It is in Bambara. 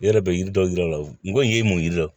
I yɛrɛ bɛ yiri dɔ yir'a la n ko in ye mun yir'u la